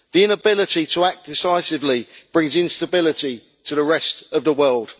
The inability to act decisively brings instability to the rest of the world.